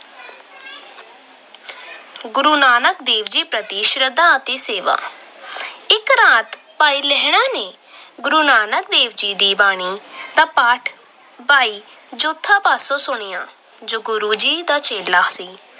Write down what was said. ਗੁਰੂ ਨਾਨਕ ਪ੍ਰਤੀ ਸ਼ਰਧਾ ਅਤੇ ਸੇਵਾ- ਇੱਕ ਰਾਤ ਭਾਈ ਲਹਿਣਾ ਜੀ ਨੇ ਗੁਰੂ ਨਾਨਕ ਦੇਵ ਦੀ ਬਾਣੀ ਦਾ ਪਾਠ ਭਾਈ ਜੋਧ ਪਾਸੋਂ ਸੁਣਿਆ ਜੋ ਗੁਰੂ ਜੀ ਦਾ ਚੇਲਾ ਸੀ।